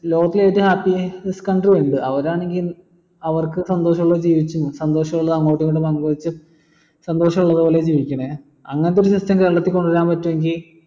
ലോകത്തിൽ ഏറ്റവും happiest country ഇണ്ട് അവരാണെങ്കി അവർക്ക് സന്തോഷമുള്ള ജീവിച്ചും സന്തോഷം അങ്ങോട്ടു ഇങ്ങോട്ടു പങ്കുവെച്ചു സന്തോഷ പൂർവം ഓല് ജീവികണ് അങ്ങനത്തെ system കേരളത്തിൽ കൊണ്ടുവരാൻ പറ്റുവെങ്കി